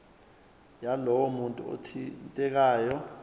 yalowo muntu othintekayo